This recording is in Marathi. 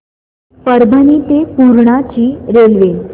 परभणी ते पूर्णा ची रेल्वे